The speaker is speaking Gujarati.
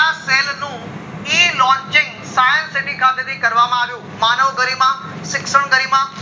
નું e launching science city ખાતે થી કરવામાં આવ્યું માનવ ગરિમા, શીક્ષાણ ગરિમા,